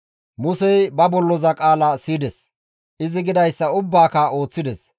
Musey ba bolloza qaala siyides; izi gidayssa ubbaaka ooththides.